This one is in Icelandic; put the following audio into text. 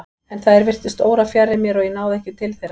En þær virtust órafjarri mér og ég náði ekki til þeirra.